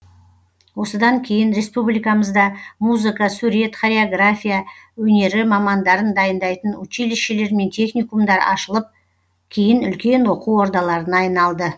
осыдан кейін республикамызда музыка сурет хореография өнері мамандарын дайындайтын училищелер мен техникумдар ашылып кейін үлкен оқу ордаларына айналды